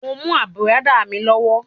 Mo mú àbùradà mi lọ́wọ́.